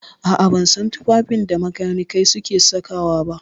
A'a, ban san tufafin da makanikai suke saka wa ba.